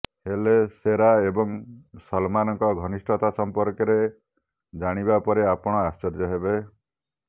ହେଲେ ଶେରା ଏବଂ ସଲମାନଙ୍କ ଘନିଷ୍ଠତା ସମ୍ପର୍କରେ ଜାଣିବା ପରେ ଆପଣ ଆଶ୍ଚର୍ଯ୍ୟ ହେବେ